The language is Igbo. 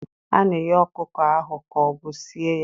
A na-eghe ọkụkọ ahụ ka ọ bụ sie ya?